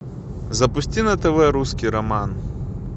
запусти на тв русский роман